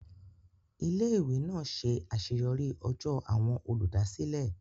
Ilé ìwé náà ṣe àṣeyọrí ọjọ́ àwọn olùdásílẹ̀